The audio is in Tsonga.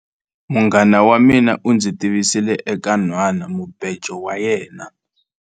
Munghana wa mina u ndzi tivisile eka nhwanamubejo wa yena.